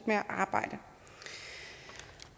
med at arbejde